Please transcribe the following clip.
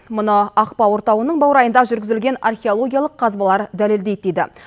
мұны ақбауыр тауының баурайында жүргізілген археологиялық қазбалар дәлелдейді дейді